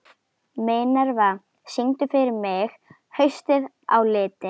Minerva, syngdu fyrir mig „Haustið á liti“.